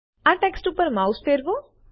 આ ટેક્સ્ટ ઉપર માઉસ ફેરવો